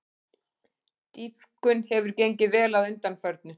Dýpkun hefur gengið vel að undanförnu